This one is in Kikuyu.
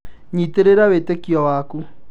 Nyitĩrĩra wĩtĩkio waku.